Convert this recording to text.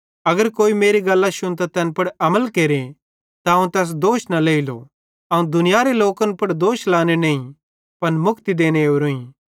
अगर कोई मेरी गल्लां शुन्तां तैन पुड़ अमल केरे त अवं तैस दोष न लेइलो अवं दुनियारे लोकन पुड़ दोष लाने नईं पन मुक्ति देने ओरोईं